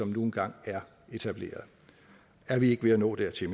nu engang er etableret er vi ikke ved at nå dertil